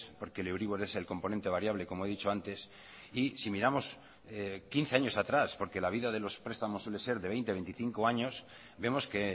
porque el euribor es el componente variable como he dicho antes y si miramos quince años atrás porque la vida de los prestamos suele ser de veinte veinticinco años vemos que